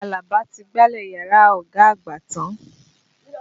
Àlàbà ti gbálẹ̀ yàrá ọ̀gá àgbà tán.